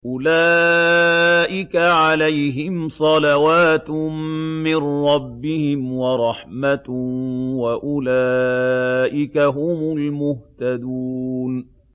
أُولَٰئِكَ عَلَيْهِمْ صَلَوَاتٌ مِّن رَّبِّهِمْ وَرَحْمَةٌ ۖ وَأُولَٰئِكَ هُمُ الْمُهْتَدُونَ